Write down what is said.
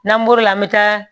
N'an bɔr'o la an bɛ taa